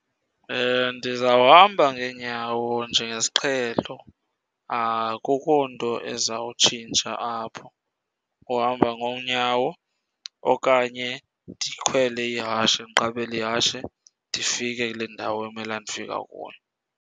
Ndizawuhamba ngeenyawo njengesiqhelo, akukho nto ezawutshintsha apho. Uhamba ngoonyawo okanye ndikhwele ihashe, ndiqabele ihashe ndifike kule ndawo emela ndifika kuyo.